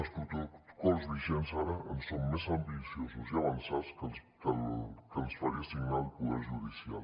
els protocols vigents ara són més ambiciosos i avançats que el que ens faria signar el poder judicial